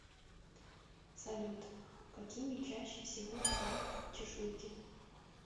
салют какими чаще всего бывают чешуйки